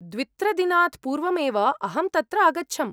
द्वित्रदिनात् पूर्वमेव अहं तत्र अगच्छम्।